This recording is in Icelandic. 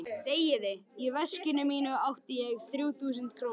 Í veskinu mínu átti ég þrjú þúsund krónur.